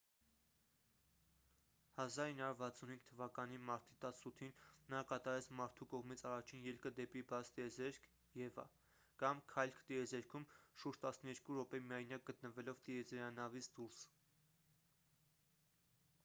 1965 թվականի մարտի 18-ին նա կատարեց մարդու կողմից առաջին ելքը դեպի բաց տիեզերք eva կամ «քայլք տիեզերքում»՝ շուրջ տասներկու րոպե միայնակ գտնվելով տիեզերանավից դուրս։